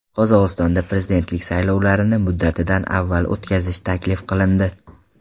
Qozog‘istonda prezidentlik saylovlarini muddatidan avval o‘tkazish taklif qilindi.